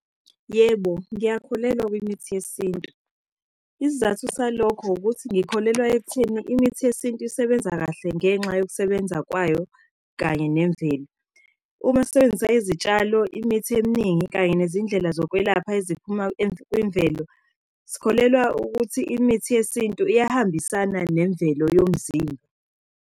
Yebo, ngiyakholelwa kwimithi yesintu. Isizathu salokho ukuthi ngikholelwa ekutheni imithi yesintu isebenza kahle ngenxa yokusebenza kwayo kanye nemvelo. Uma sisebenzisa izitshalo, imithi eminingi, kanye nezindlela zokwelapha eziphuma kwimvelo, sikholelwa ukuthi imithi yesintu iyahambisana nemvelo yomzimba.